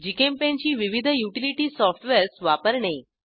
GChemPaint ची विविध utility softwares वापरणे